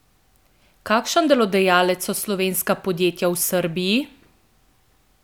Kakšen delodajalec so slovenska podjetja v Srbiji?